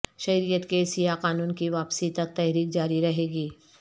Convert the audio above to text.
شہریت کے سیاہ قانون کی واپسی تک تحریک جاری رہیگی